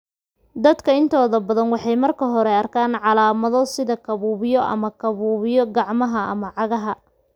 Dadka intooda badan waxay marka hore arkaan calaamado, sida kabuubyo ama kabuubyo, gacmaha ama cagaha.